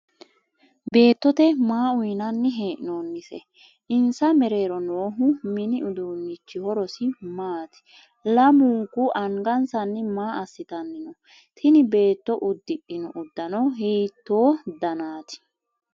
Beettote maa uyinnanni he'noonnise? Insa meero noohu minni uduunni horosi maati? Lamunku angansanni maa asitanni no? Tinni beetto udhino udano hiitoo dannite?